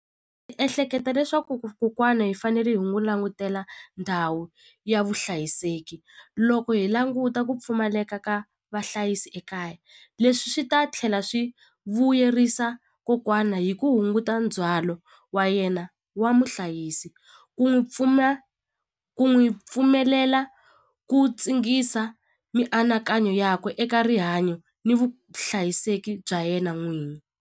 ehleketa leswaku kokwana hi fanele hi n'wu langutela ndhawu ya vuhlayiseki loko hi languta ku pfumaleka ka vahlayisi ekaya leswi swi ta tlhela swi vuyerisa kokwana hi ku hunguta ndzhwalo wa yena wa muhlayisi ku n'wi pfuna ku n'wi pfumelela ku tsingisa mianakanyo yakwe eka rihanyo ni vuhlayiseki bya yena n'wini.